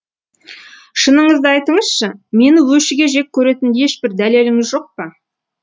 шыныңызды айтыңызшы мені өшіге жек көретін ешбір дәлеліңіз жоқ па